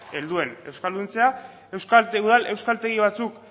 helduen euskalduntzea udal euskaltegi batzuk